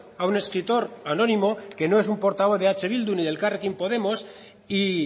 a un escritor anónimo que no es un portavoz de eh bildu ni de elkarrekin podemos y